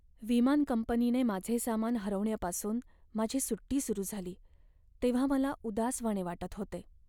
विमान कंपनीने माझे सामान हरवण्यापासून माझी सुट्टी सुरू झाली तेव्हा मला उदासवाणे वाटत होते.